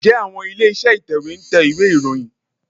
Ǹjẹ́ àwọn ilé-iṣẹ́ ìtẹ̀wé ń tẹ ìwé ìròyìn?